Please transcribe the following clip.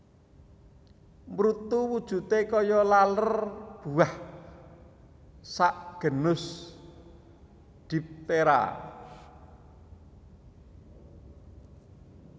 Mrutu wujute kaya laler buah sak genus diptera